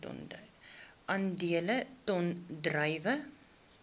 aandele ton druiwe